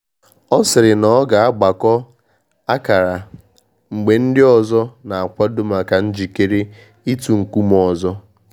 Ọ sịrị na ọ ga na agbakọ akara mgbe ndị ọzọ na akwado maka njikere itu nkume ọzọ